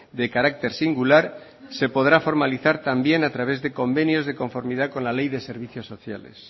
de carácter singular se podrá formalizar también a través de convenios de conformidad con la ley de servicios sociales